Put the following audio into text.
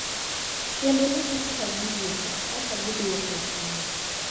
Kendo loso kaka giwuotho, kaka gidwoko e chunygi,